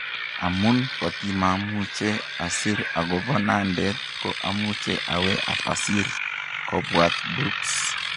Amun kotimamuche asir agopo nandet ko amuche awe apasir ' kopwatt Brooks